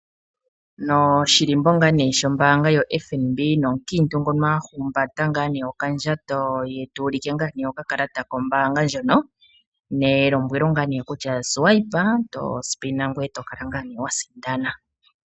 Noshilimbo ngaa nee sho mbaanga sho FNB, omukiintu ngono ahumbata okandjato ye tuu like nganee okakalata ko mbaanga ndjono nelombwelo ngaa nekutya swipe to spina ngoye tokala ngaa ne wasindana.